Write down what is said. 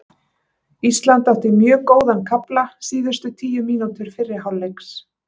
Ísland átti mjög góðan kafla síðustu tíu mínútur fyrri hálfleiks